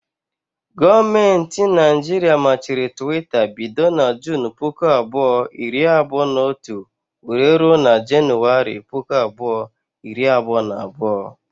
Gọọmenti Naijiria machiri Twitter bido na Junu puku abụọ, iri abụọ na otu wéré rụọ na januwari, puku abụọ iri abụọ na abụọ